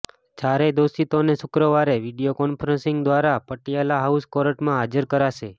ચારેય દોષિતોને શુક્રવારે વીડિયો કોન્ફરન્સિંગ દ્વારા પટિયાલા હાઉસ કોર્ટમાં હાજર કરાશે